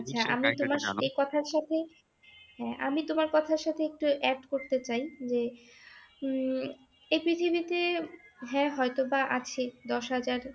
আচ্ছা আমি তোমার এই কথার সাথে হ্যাঁ আমি তোমার কথার সাথে একটু add করতে চাই যে উম এই পৃথিবীতে হ্যাঁ হয়তোবা আছে দশ হাজার